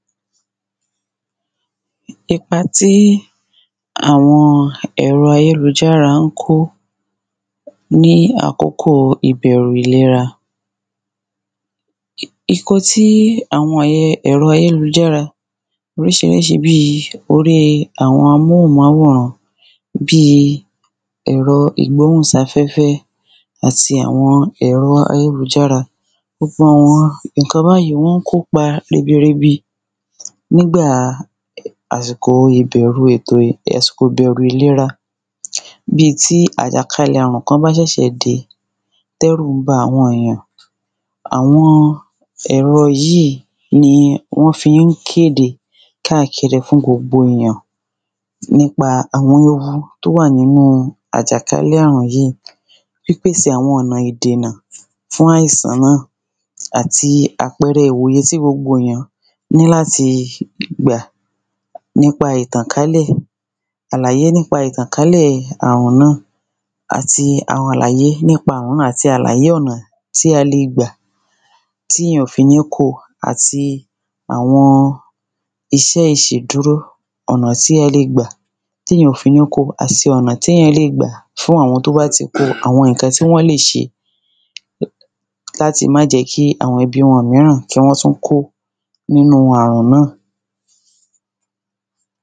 ipa tí àwọn èrọ ayélújára ńkó ní àkókò ìbẹ̀rù ìlera ìkan tí àwọn èrọ ayélújára oríṣiríṣi bíi orí àwọn amóhunmáwòrán bíi ẹ̀ro ìgbọ́hùnsáfẹ́fẹ́ àti àwọn èrọ ayélújára gbogbo àwọn ìkan báyí wọ́n ń kó pa ribiribi nígbàa àsìkò ìbẹ̀rù ìlera bíi tí àjàkalẹ̀ àrùn kan bá ṣẹ̀ṣẹ̀ dé tẹ́rù ń ba àwọn èjàn àwọn ẹ̀rọ yíí ni wọ́n fí ń kéde káàkiri fún gbogbo èyàn nípa àwọn ewu tó wà nínu àjàkálẹ̀ àrùn yíì pípèsè àwọn ọ̀nà ìdìnà fún áìsàn náà àti àpẹẹrẹ ìwòye sí gbogbo èyàn ní láti gbà àlàyé nípa ìtànkálẹ̀ àrùn náà àti àwọn àlàyé nípa òun náà àti àlàyé ọ̀nà tí a le gbà tíyàn ò fi ní ko àti àwọn iṣẹ́ ìṣedúró ọ̀nà tí ẹ le gbà téyàn ò fi ní ko àti ọ̀nà téyàn le gbà fún àwọn tó bá ti ko àwọn ǹkan tí wọ́n lè ṣe láti má jẹ́ kí àwọn ẹbí wọn míràn kí wọ́n tún kó nínu àrùn náà